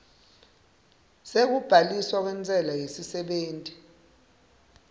sekubhaliswa kwentsela yesisebenti